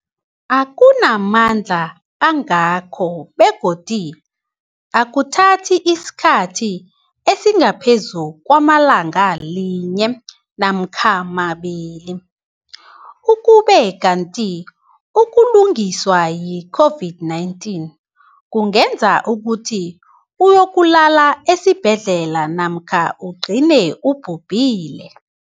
akuna mandla angako begodu akuthathi isikhathi esingaphezulu kwelanga linye namkha mabili, ukube kanti ukuguliswa yi-COVID-19 kungenza ukuthi uyokulala esibhedlela namkha ugcine ubhubhile.